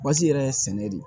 Basi yɛrɛ ye sɛnɛ de ye